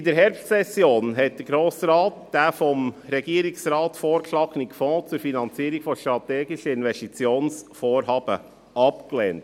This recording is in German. In der Herbstsession hat der Grosse Rat den vom Regierungsrat vorgeschlagenen Fonds zur Finanzierung von strategischen Investitionsvorhaben abgelehnt.